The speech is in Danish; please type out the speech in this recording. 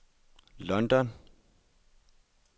London